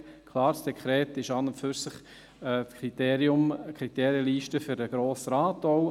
Klar: Das Dekret ist an und für sich die Kriterienliste für den Grossen Rat.